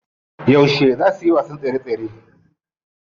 Yauce zaa su wasan tsere tsere?